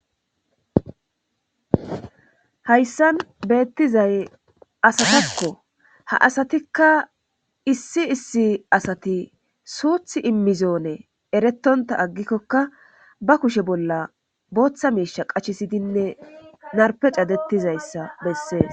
hayssan beettizay asatakko ha asatikka issi issi asati suuth immizoone eretonta aggikkokka ba kushe bolla booththa miisha qachisidinne narpe cadettizayssa bessee